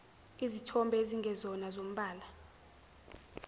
izithombe ezingezona zombala